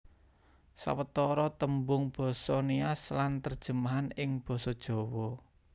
Sawetara tembung basa Nias lan terjemahan ing Basa Jawa